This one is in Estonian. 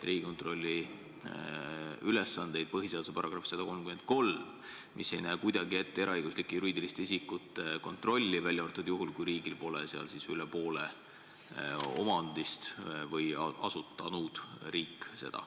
Riigikontrolli ülesanded on kirjas põhiseaduse §-s 133, mis ei näe ette eraõiguslike juriidiliste isikute kontrolli, välja arvatud juhul, kui riigile kuulub ettevõttes üle poole omandist.